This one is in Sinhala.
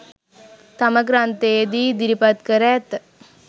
තම ග්‍රන්ථයේ දී ඉදිරිපත් කර ඇත.